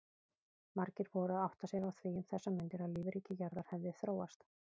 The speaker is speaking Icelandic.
Margir voru að átta sig á því um þessar mundir að lífríki jarðar hefði þróast.